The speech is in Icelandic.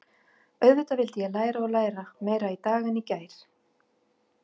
Auðvitað vildi ég læra og læra, meira í dag en í gær.